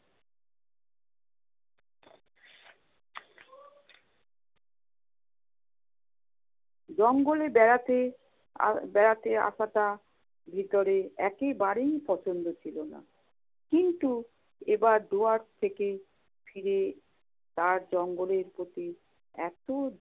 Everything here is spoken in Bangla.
জঙ্গলে বেড়াতে আহ বেড়াতে আসাটা ভিতরে একেবারেই পছন্দ ছিল না। কিন্তু এবার দুয়ার্চ থেকে ফিরে তার জঙ্গলের প্রতি এত